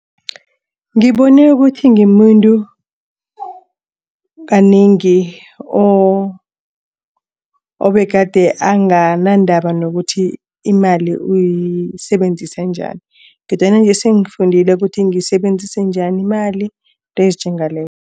Ngibone ukuthi ngimuntu kanengi obegade anganandaba nokuthi imali uyisebenzise njani. Kodwana nje singifundile ukuthi ngiyisebenzise njani imali izinto ezinjengalezo.